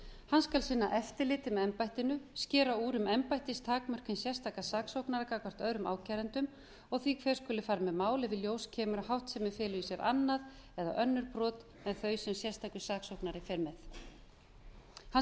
hann skal sinna eftirliti með embættinu skera úr um embættistakmörk hins sérstaka saksóknara gagnvart öðrum ákærendum og því hver skuli fara með mál ef í ljós kemur að háttsemi feli í sér annað eða önnur brot en þau sem sérstakur saksóknari fer með hann